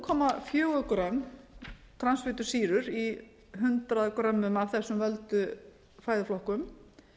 komma fjögur grömm transfitusýrur í hundrað grömmum af þessum völdu fæðuflokkum